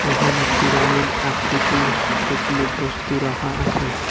এখানে পিরামিড আকৃতির কতগুলি বস্তু রাখা আসে।